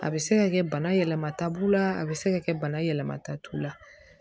A bɛ se ka kɛ bana yɛlɛma ta b'u la a bɛ se ka kɛ bana yɛlɛmata t'u la